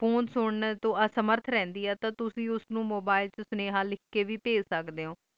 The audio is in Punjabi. ਫੋਨ ਸੁਰਾਂ ਤੋਂ ਅਸਮਰਥ ਰਹਿੰਦੈ ਆਈ ਤੇ ਤੁਸੀਂ ਉਸ ਨੂੰ mobile phone ਵਿਚ ਸਨੇਹਾ ਲਿਖ ਕ ਵੇ ਭੇਜ ਸਕਦੇ ਓ